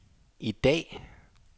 i dag